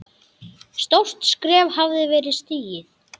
Stórt skref hafði verið stigið.